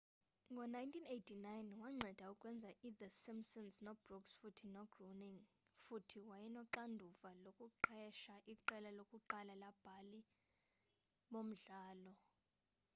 ngo-1989 wanceda ukwenza i-the simpsons no-brooks futhi no-groening futhi wayenoxanduva lokuqesha iqela lokuqala labhali bomdlalo